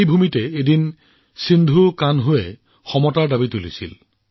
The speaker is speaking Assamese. এই ভূমিৰ পৰাই সিধোকানহুৱে সমতাৰ বাবে মাত মাতিছিল